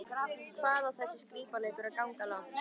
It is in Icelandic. Hvað á þessi skrípaleikur að ganga langt?